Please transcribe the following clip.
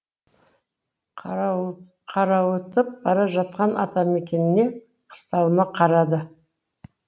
қарауытып бара жатқан атамекеніне қыстауына қарады